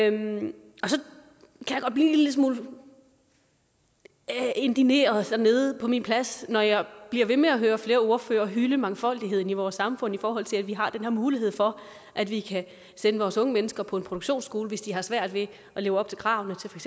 en lille smule indigneret nede på min plads når jeg bliver ved med at høre flere ordførere hylde mangfoldigheden i vores samfund i forhold til at vi har den her mulighed for at vi kan sende vores unge mennesker på en produktionsskole hvis de har svært ved at leve op til kravene til for